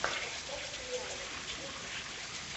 поставь сериалы ютюб